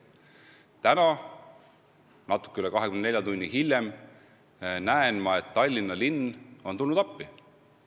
Täna – natuke üle 24 tunni hiljem – kuulen ma, et Tallinna linn on tulnud appi.